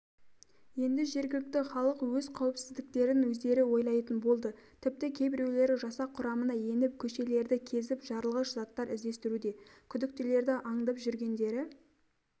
енді жергілікті халық өз қауіпсіздіктерін өздері ойлайтын болды тіпті кейбіреулері жасақ құрамына еніп көшелерді кезіп жарылғыш заттар іздестіруде күдіктілерді аңдып жүргендері